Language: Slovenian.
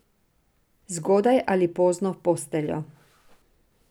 Zgodaj ali pozno v posteljo.